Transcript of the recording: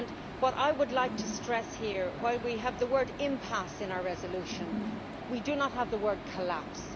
What I would like to stress here is that while we have the word impasse' in our resolution, we do not have the word collapse'.